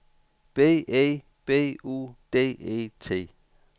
B E B U D E T